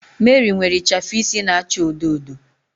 Mary nwere ichafu isi na-acha odo odo